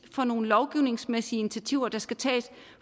for nogle lovgivningsmæssige initiativer der skal tages